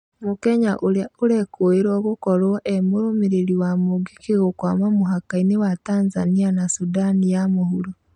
Mũkenya ũrĩa ũrekũirwo gũkorwo emũrũmĩrĩri wa mũngĩkĩ gũkwama mhakainĩ wa Tanzania na Sundani ya mũhuro.